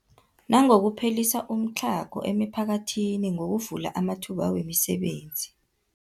Nangokuphelisa umtlhago emiphakathini ngokuvula amathuba wemisebenzi.